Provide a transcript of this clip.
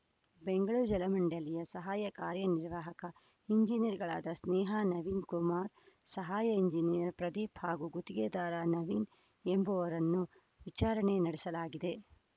ಬೆಂಗಳೂರು ಜಲ ಮಂಡಳಿಯ ಸಹಾಯ ಕಾರ್ಯನಿರ್ವಾಹಕ ಎಂಜಿನಿಯರ್‌ಗಳಾದ ಸ್ನೇಹ ನವೀನ್‌ ಕುಮಾರ್‌ ಸಹಾಯ ಎಂಜಿನಿಯರ್‌ ಪ್ರದೀಪ್‌ ಹಾಗೂ ಗುತ್ತಿಗೆದಾರ ನವೀನ್‌ ಎಂಬುವವರನ್ನು ವಿಚಾರಣೆ ನಡೆಸಲಾಗಿದೆ